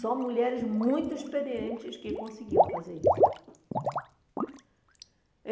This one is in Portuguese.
Só mulheres muito experientes que conseguiam fazer isso.